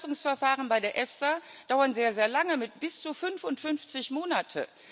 Die Zulassungsverfahren bei der EFSA dauern sehr, sehr lange, bis zu 55 Monate.